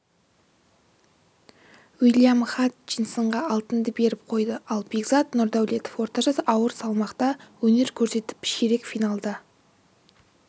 уильям хатчинсонға алтынды беріп қойды ал бекзат нұрдаулетов орташа ауыр салмақта өнер көрсетіп ширек финалда